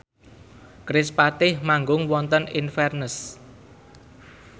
kerispatih manggung wonten Inverness